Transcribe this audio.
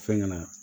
Fɛnkɛ na